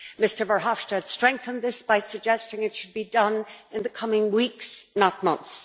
Mr Verhofstadt strengthened this by suggesting it should be done in the coming weeks, not months.